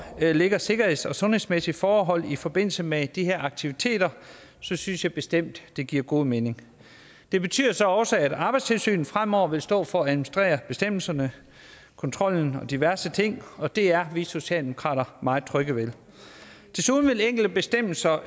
ligger sikkerheds og sundhedsmæssige forhold i forbindelse med de her aktiviteter synes synes jeg bestemt det giver god mening det betyder så også at arbejdstilsynet fremover vil stå for at administrere bestemmelserne kontrollen og diverse ting og det er vi socialdemokrater meget trygge ved desuden vil enkelte bestemmelser